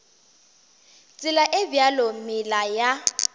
tsela e bjalo meela ya